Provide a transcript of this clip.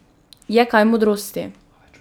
Je kaj modrosti?